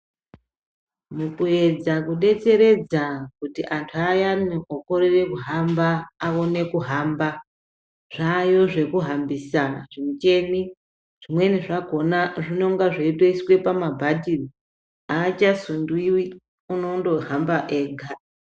Mukuedza kudetseredza kuti antu ayani okorere kuhamba, aone kuhamba, zvaayo zvekuhambisa zvimucheni, zvimweni zvakhona zvinonga zveitoiswe pamabhatiri, aachasundiwi, unondohamba ega.